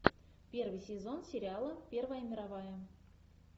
первый сезон сериала первая мировая